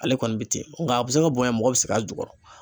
Ale kɔni bɛ ten nka a bɛ se ka bonya mɔgɔ bɛ sig'a jukɔrɔ.